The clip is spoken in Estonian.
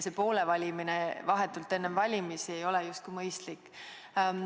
Poole valimine vahetult enne valimisi ei ole justkui mõistlik.